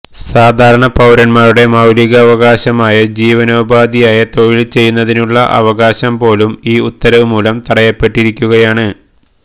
സാധാരണപൌരന്മാരുടെ മൌലികാവകാശമായ ജീവനോപാധിയായ തൊഴിൽ ചെയ്യുന്നതിനുള്ള അവകാശം പോലും ഈ ഉത്തരവ് മൂലം തടയപ്പെട്ടിരിക്കുകയാണ്